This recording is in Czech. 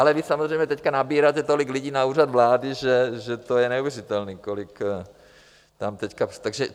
Ale vy samozřejmě teď nabíráte tolik lidí na Úřad vlády, že to je neuvěřitelné, kolik tam teďka...